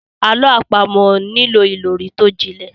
Àlọ́ àpamọ̀ nílò ìròrí tó jinlẹ̀.